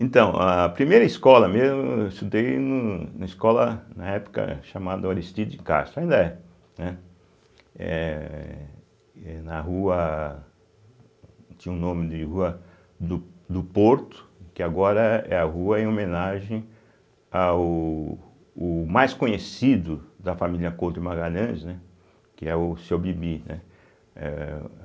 Então, a primeira escola mesmo, eu estudei numa escola, na época, chamada Aristides Castro, ainda é. Né. Eh e na rua, tinha o nome de rua do do Porto, que agora é a rua em homenagem ao o mais conhecido da família Couto de Magalhães, né que é o Seu Bibi, né eh.